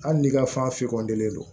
Hali n'i ka fɛn kɔntɛlen do